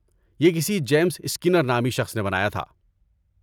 یہ کسی James Skinner نامی شخص نے بنایا تھا۔